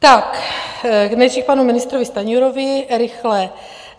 Tak nejdřív k panu ministrovi Stanjurovi rychle.